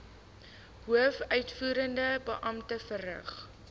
hoofuitvoerende beampte verrig